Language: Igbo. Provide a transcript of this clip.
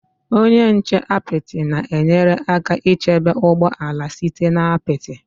Onye nche apịtị na-enyere aka ichebe ụgbọ ala site na apịtị.